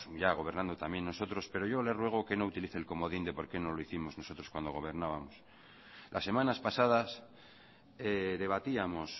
ya gobernando también nosotros pero yo le ruego que no utilice el comodín de por qué no lo hicimos nosotros cuando gobernábamos las semanas pasadas debatíamos